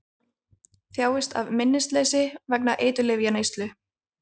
Þjáist af minnisleysi vegna eiturlyfjaneyslu